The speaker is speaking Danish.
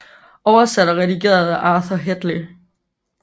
Oversat og redigeret af Arthur Hedley